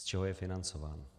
Z čeho je financován?